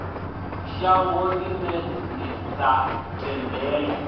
shango ḽine ḽi sa tendele